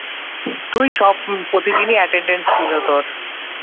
তুই সব প্রতিদিনই attendance school এ তোর